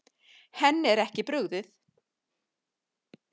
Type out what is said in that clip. Henni er ekki brugðið.